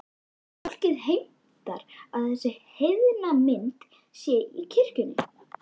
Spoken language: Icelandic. En fólkið heimtar að þessi heiðna mynd sé í kirkjunni.